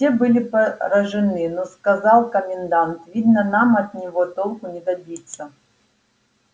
все были поражены но сказал комендант видно нам от него толку не добиться